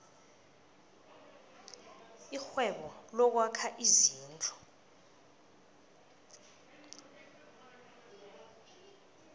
irhwebo lokwakha izindlu